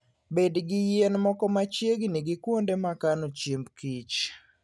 Bed gi yien moko machiegni gi kuonde ma kano chiemb kich.